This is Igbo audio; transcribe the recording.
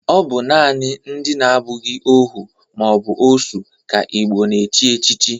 Ọ bụ nanị ndị na-abụghị ohu ma ọ bụ osu ka Igbo na-echi echichi